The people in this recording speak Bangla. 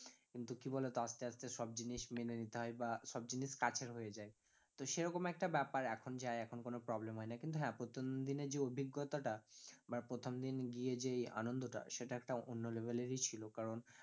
কিন্তু কি বলোতো আস্তে আস্তে সব জিনিস মেনে নিতে হয় বা সব জিনিস কাছের হয়ে যায় তো সেরকম ই একটা ব্যাপার এখন যাই এখন কোনো problem হয় না, কিন্তু হ্যাঁ প্রথমদিনে যে অভিজ্ঞতাটা বা প্রথমদিন গিয়ে যে এই আনন্দ টা সেটা একটা অন্য level এর ই ছিল কারণ